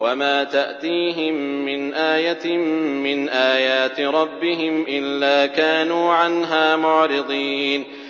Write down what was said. وَمَا تَأْتِيهِم مِّنْ آيَةٍ مِّنْ آيَاتِ رَبِّهِمْ إِلَّا كَانُوا عَنْهَا مُعْرِضِينَ